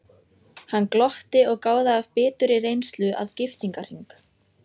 Hann glotti og gáði af biturri reynslu að giftingarhring.